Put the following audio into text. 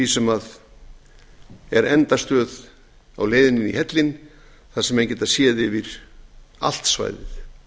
sem er endastöð á leiðinni í hellinn þar sem menn geta séð yfir allt svæðið